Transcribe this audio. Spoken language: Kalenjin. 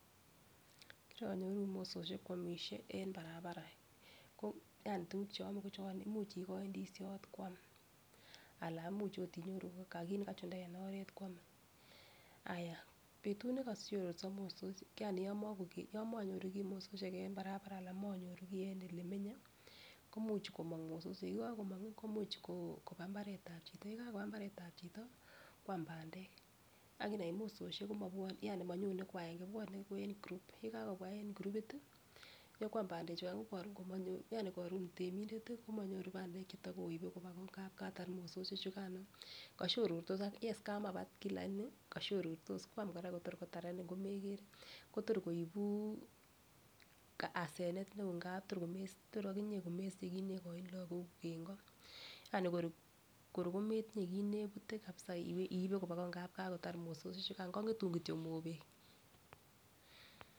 Kironyoru mososiek kwomishe en barabara ko yani tukuk cheome ko chon imuch ikoi ndishot kwam Alan imuch ot inyoru ko kit nekachunda en oret kwome. Ayaa betut nekoshororso mososiek yani yomok yomonyoru kii mososiek en barabara anan monyoru kii en elemenye ko imuch komong mososiek yekokomongi komuch ko koba imbaretab chito, yekakoba imbaretab chito kwam pandek akinai mososiek komobwon yani monyone kwagenge bwone ko en group [cd] yekabwa en kurupit tii nyokwam pandek chukan ko korun minyor yani korun temindet tii komonyor pandek chetokoibe koba koo Katar mososiek chukano koshorortos akichek yes kamapat kii lakini koshorortos kwam Koraa Kotor kotarenin komekere kotor koibu asenet neo ngap tor komes Tor okinyee komesiche kit nekoini lokok kuuk en koo, yani kor kor kometinyee kit nepute kabisa iibe koba ngamun kakotar mososiek chukan kongetun kityok mobek.